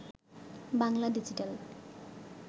Bangla digital